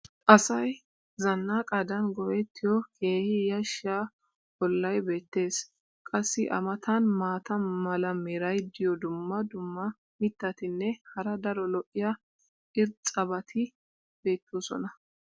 Asay zanaqqadan go'ettiyo keehi yashiya olay beetees. qassi a matan maata mala meray diyo dumma dumma mitatinne hara daro lo'iya irxxabati beetoosona.